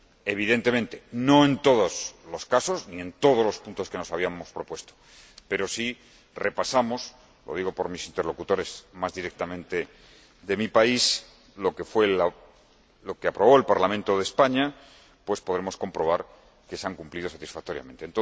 Evidentemente, no en todos los casos ni en todos los puntos que nos habíamos propuesto, pero, si repasamos —lo digo por mis interlocutores, más directamente, de mi país— lo que aprobó el Parlamento de España, podremos comprobar que se han cumplido satisfactoriamente.